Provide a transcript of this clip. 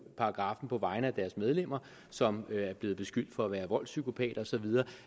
paragraffen på vegne af deres medlemmer som er blevet beskyldt for at være voldspsykopater og så videre